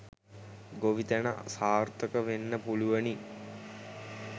ගොවිතැන සාර්ථක වෙන්න පුළුවනි